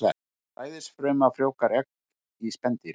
Sæðisfruma frjóvgar egg í spendýri.